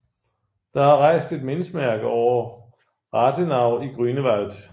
Der er rejst et mindesmærke over Rathenau i Grünewald